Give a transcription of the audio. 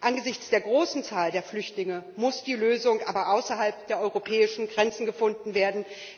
Angesichts der großen Zahl der Flüchtlinge muss die Lösung aber außerhalb der europäischen Grenzen gefunden werden.